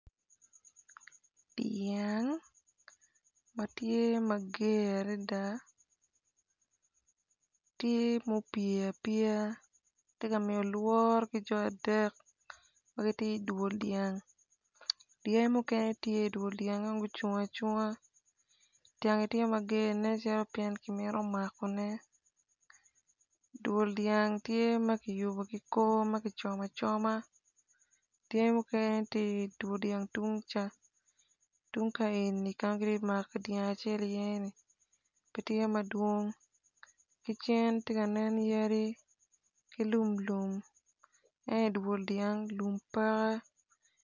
Dyang ma tye ma ger adada tye ma pye apye tye ka miyo lworo bot ki jo adek ma gitye idwol dyang dyangi mukene tye idwol dyang ento gucung acunga dyangi tye mager nen calo kimito makone dwol dyang tye ma kiyubo ki kor ma kicomo acoma, dyangi mukene tye idwol dyang tungca tung ka eni ka ma kitye ka mako dyang acel iyeni gitye madwong ki cen tye ka nen yadi ki lum lum ento idwol dyang lum peke.